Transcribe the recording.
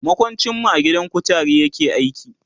makwancin mu a gidan kutare yake aiki